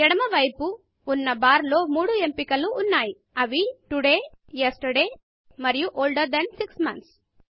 ఎడమ వైపు ఉన్న బార్ లో మూడు ఎంపిక లు ఉన్నాయి అవి Todayటుడే Yesterdayఎస్టర్డే మరియు older than 6 months older than six months